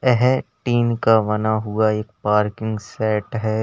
यह टिन का बना हुआ एक पार्किंग शेड है।